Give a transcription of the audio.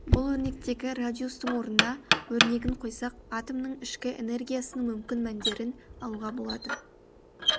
бұл өрнектегі радиустың орнына өрнегін қойсақ атомның ішкі энергиясының мүмкін мәндерін алуға болады